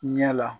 Ɲɛ la